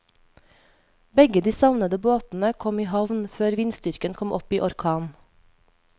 Begge de savnede båtene kom i havn før vindstyrken kom opp i orkan.